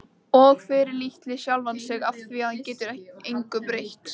Og fyrirlíti sjálfan sig afþvíað hann getur engu breytt.